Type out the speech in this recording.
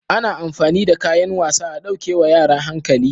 Ana amfani da kayan wasa a ɗauke wa yara hankali